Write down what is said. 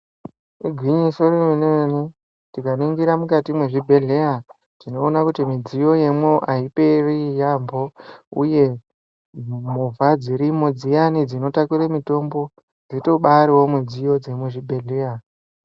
Igwinyiso remene-mene, tikaningira mukati mwezvibhedheya ,tinoona kuti midziyo yemwo aiperi yaampho, uye movha dzirimo dziyani dzinotakure mitombo, dzitobaariwo midziyo dzemuzvibhedhleya.